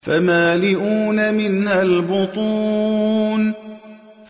فَمَالِئُونَ مِنْهَا الْبُطُونَ